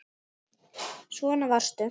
Svona varstu.